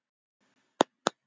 Er hún amma þín?